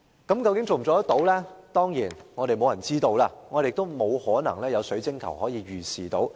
當然，沒有人知道我們可否做到，亦沒法可從水晶球預視得到。